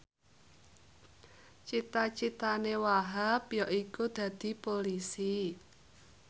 cita citane Wahhab yaiku dadi Polisi